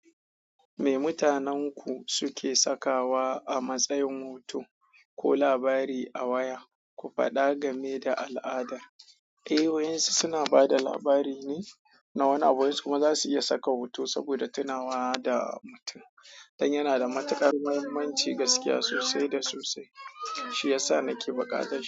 Me mutanenku suke sakawa a matsayin hoto ko labari a waya? Ku faɗa game da al'ada. Eh, wayinsu suna ba da labari ne na wani abu, wai su kuma za su iya saka hoto saboda tunawa da mutum idan yana da matuƙar muhimmanci, gaskiya sosai da sosai. Shi ya sa nake buƙatar.